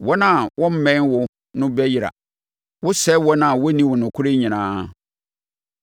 Wɔn a wɔmmɛn wo no bɛyera. Wosɛe wɔn a wɔnni wo nokorɛ nyinaa.